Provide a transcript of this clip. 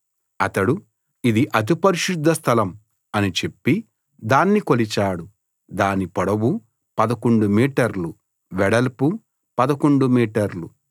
అతడు ఇది అతి పరిశుద్ధస్థలం అని చెప్పి దాన్ని కొలిచాడు దాని పొడవు 11 మీటర్లు వెడల్పు 11 మీటర్లు